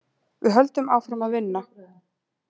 Við höldum áfram að vinna.